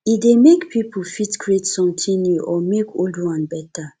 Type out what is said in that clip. e dey make pipo fit create something new or make old one better